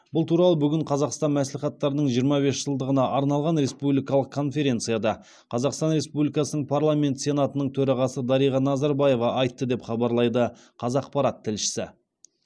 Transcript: бұл туралы бүгін қазақстан мәслихаттарының жиырма бес жылдығына арналған республикалық конференцияда қазақстан республикасының парламенті сенатының төрағасы дариға назарбаева айтты деп хабарлайды қазақпарат тілшісі